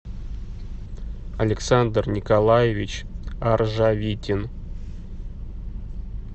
александр николаевич аржавитин